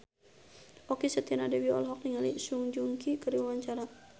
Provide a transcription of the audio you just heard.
Okky Setiana Dewi olohok ningali Song Joong Ki keur diwawancara